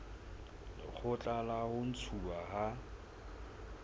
lekgotla la ho ntshuwa ha